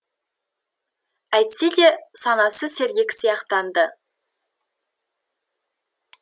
әйтсе де санасы сергек сияқтанды